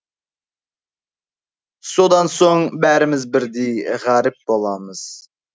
содан соң бәріміз бірдей ғаріп боламыз